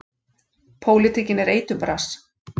Pólitíkin er eiturbras.